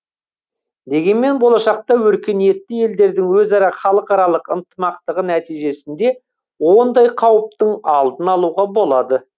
дегенмен болашақта өркениетті елдердің өзара халықаралық ынтымақтығы нәтижесінде ондай қауіптің алдын алуға болады